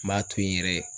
N b'a to yen yɛrɛ